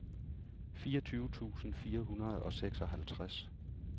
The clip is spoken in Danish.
fireogtyve tusind fire hundrede og seksoghalvtreds